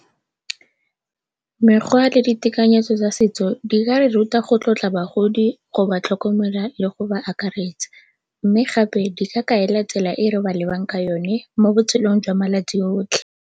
Mekgwa le ditekanyetso tsa setso di ka re ruta go tlotla bagodi, go ba tlhokomela le go ba akaretsa mme gape di ka kaela tsela e re ba lebang ka yone mo botshelong jwa malatsi otlhe.